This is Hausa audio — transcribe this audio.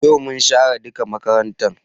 Yau mun share duka makarantan